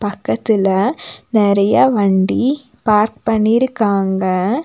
பக்கத்துல நெறைய வண்டி பார்க் பண்ணிருக்காங்க.